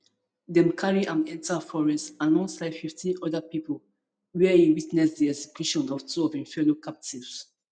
dem carry am enta forest alongside fifteen oda pipo wia e witness di execution of two of im fellow captives